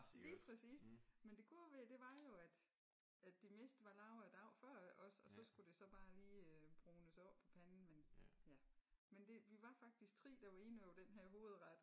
Lige præcis men det gode ved det var jo at at det meste var lavet a dag før iggås og så skulle det så bare lige brunes af på panden men ja men det vi var faktisk 3 der var inde over den her hovedret